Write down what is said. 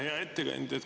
Hea ettekandja!